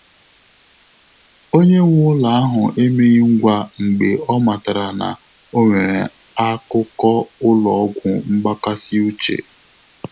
Ọ́nyé nwé ụ́lọ́ áhụ́ emeghị ngwá mgbè ọ́ màtàrà nà ọ́ nwèrè ákụ́kọ́ ụ́lọ́ ọ́gwụ́ mgbàkàsị́ úchè.